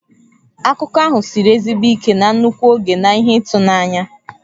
Akụkọ ahụ siri ezigbo ike na nnukwu oge na ihe ịtụnanya.